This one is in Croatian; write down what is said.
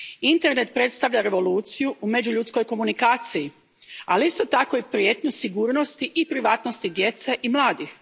Internet predstavlja revoluciju u međuljudskoj komunikaciji, ali isto tako i prijetnju sigurnosti i privatnosti djece i mladih.